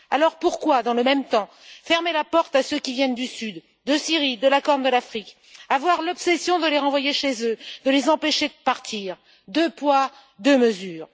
Alors, pourquoi, dans le même temps, ferme t on la porte à ceux qui viennent du Sud, de Syrie, de la Corne de l'Afrique? Pourquoi a t on l'obsession de les renvoyer chez eux, de les empêcher de partir? Deux poids, deux mesures.